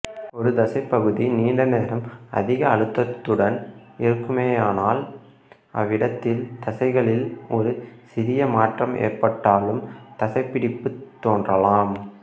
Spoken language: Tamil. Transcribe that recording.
ஒரு தசைப்பகுதி நீண்ட நேரம் அதிக அழுத்தத்துடன் இருக்குமேயானால் அவ்விடத்தில் தசைகளில் ஒரு சிறிய மாற்றம் ஏற்பட்டாலும் தசைப்பிடிப்புத் தோன்றலாம்